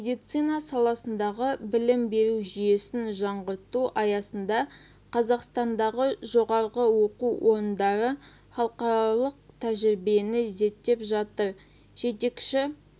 медицина саласындағы білім беру жүйесін жаңғырту аясында қазақстандағы жоғарғы оқу орындары халықаралық тәжірибені зерттеп жатыр жетекші